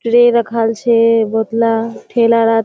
ट्रय रखाल छे बोहोतला ठेलारात।